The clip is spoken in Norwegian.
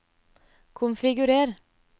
konfigurer